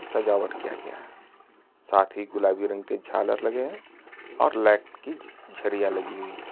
सजावट किया गया है। साथ ही गुलाबी रंग के झालर लगे हैं और लैट की झरियाँ लगी हुई हैं।